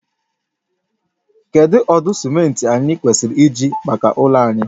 Kedu ụdị simenti anyị kwesịrị iji maka ụlọ anyị?